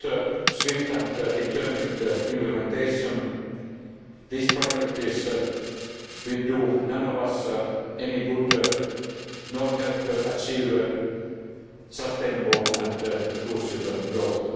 Without swift and determined implementation these priorities will do none of us any good, nor help achieve sustainable and inclusive growth.